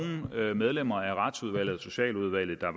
medlemmer af retsudvalget og socialudvalget der